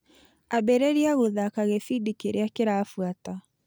Ambĩrĩria gũthaka gĩbindi kĩrĩa kĩrabuata .